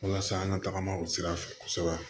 Walasa an ka tagama o sira fɛ kosɛbɛ